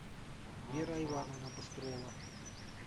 вера ивановна быстрова